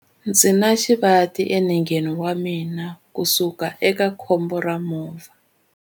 Ndzi na xivati enengeni wa mina kusukela eka khombo ra movha.